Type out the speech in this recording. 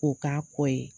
K'o k'a kɔ ye